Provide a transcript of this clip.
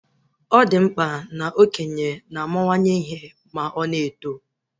Ọ di mkpa na okenye na amawanye ihe ma ọ na-eto